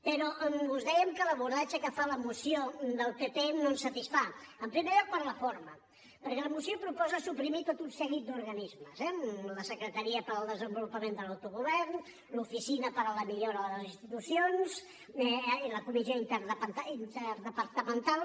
però us dèiem que l’abordatge que fa la moció del pp no ens satisfà en primer lloc per la forma perquè la moció proposa suprimir tot un seguit d’organismes la secretaria per al desenvolupament de l’autogovern l’oficina per a la millora de les institucions la comissió interdepartamental